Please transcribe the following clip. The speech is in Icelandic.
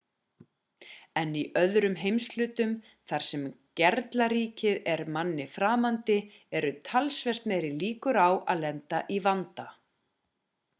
en í öðrum heimshlutum þar sem gerlaríkið er manni framandi eru talsvert meiri líkur á að lenda í vanda